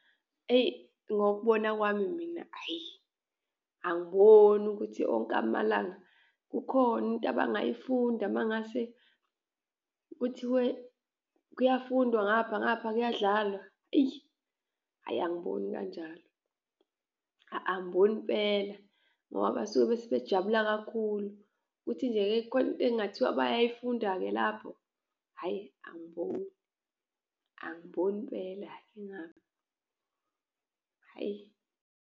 Eyi, ngokubona kwami mina hhayi, angiboni ukuthi onke amalanga kukhona into abangayifunda uma ngase kuthiwe kuyafundwa ngapha, ngapha kuyadlalwa eyi. Hhayi angiboni kanjalo, angiboni impela ngoba basuke sebejabula kakhulu. Kuthi nje-ke khona into ekungathiwa bayayifunda-ke lapho? Hhayi angiboni, angiboni impela, hhayi.